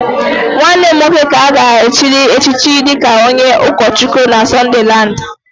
nwanne m nwoke ka a ga-echiri echichi dịka onye ụkọchukwu na Sunderland